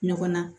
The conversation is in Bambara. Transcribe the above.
Ɲɔgɔn na